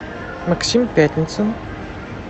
максим пятницын